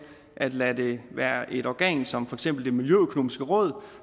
at lade det være et organ som for eksempel det miljøøkonomiske råd